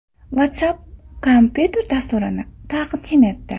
WhatsApp kompyuter dasturini taqdim etdi.